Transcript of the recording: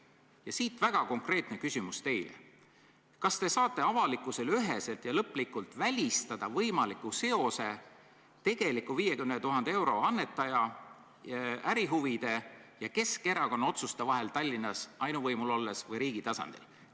Siit teile väga konkreetne küsimus: kas te saate avalikkusele üheselt ja lõplikult välistada võimaliku seose 50 000 euro tegeliku annetaja ärihuvide ja Keskerakonna otsuste vahel Tallinnas ainuvõimul olles või riigi tasandil?